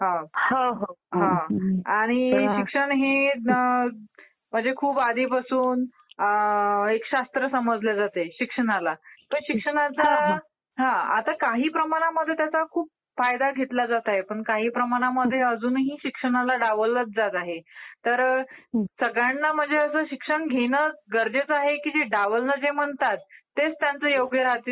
हो हो. आणि शिक्षण हे म्हणजे खूप आधीपासून एक शास्त्र समजले जाते शिक्षणाला तर शिक्षणाचा आता काही प्रमाणात त्याचा खूप फायदा घेतला जात आहे पण काही प्रमाणात अजूनही शिक्षणाला डावललंच जात आहे. तर सगळ्यांना म्हणजे असं शिक्षण घेणं गरजेचं आहे की जे डावललं जे म्हणतात तेच त्यांचं योग्य राहते?